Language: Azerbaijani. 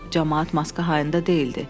Camaat maska hayında deyildi.